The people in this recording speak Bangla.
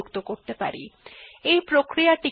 এই প্রক্রিয়া টিকে রিডাইরেকশন বা পুনর্নির্দেশনা বলা হয়